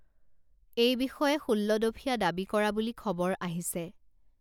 এই বিষয়ে ষোল্লদফীয়া দাবী কৰা বুলি খবৰ আহিছে